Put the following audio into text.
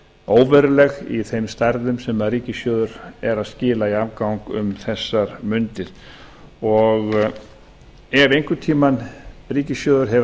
óveruleg í þeim stærðum sem ríkissjóður er að skila í afgang um þessar mundir ef einhvern tíma ríkissjóður hefur